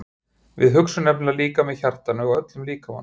Við hugsum nefnilega líka með hjartanu og öllum líkamanum.